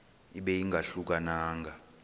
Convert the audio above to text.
ibe ingahluka nanga